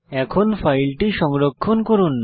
এখন ফাইলটি সংরক্ষণ করুন